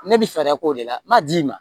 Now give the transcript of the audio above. Ne bi fɛɛrɛ k'o de la n b'a d'i ma